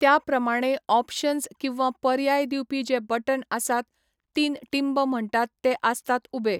त्या प्रमाणें ऑपशन्स किंवा पर्याय दिवपी जे बटन आसात तीन टींब म्हणटात ते आसतात उबे.